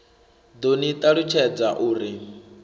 ḓo ni ṱalutshadza u ri